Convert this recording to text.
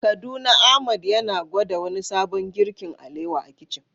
A Kaduna Ahmad yana gwada wani sabon girkin alewa a kicin.